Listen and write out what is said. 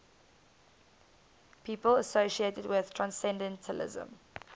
people associated with transcendentalism